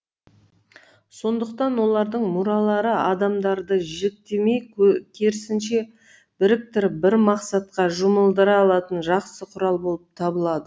сондықтан олардың мұралары адамдарды жіктемей керісінше біріктіріп бір мақсатқа жұмылдыра алатын жақсы құрал болып табылады